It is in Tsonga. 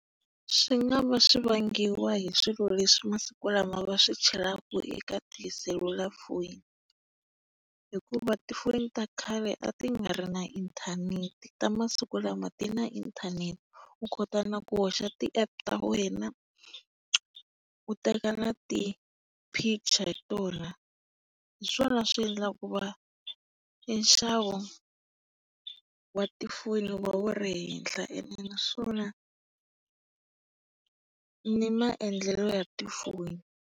Swi nga va swi vangiwa hi swilo leswi masiku lama va swi chelaka eka tiselulafoni. Hikuva tifoni ta khale a ti nga ri na inthanete ta masiku lama ti na inthanete u kota na ku hoxa ti-app ta wena, u teka na ti picture hi tona. Hi swona swi endlaka ku va e nxavo wa ti foni wu va wu ri henhla ene naswona ni maendlelo ya tifoni.